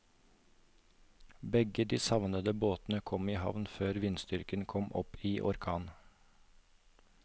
Begge de savnede båtene kom i havn før vindstyrken kom opp i orkan.